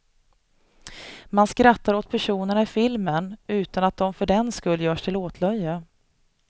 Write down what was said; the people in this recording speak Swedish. Man skrattar åt personerna i filmen utan att de för den skull görs till åtlöje.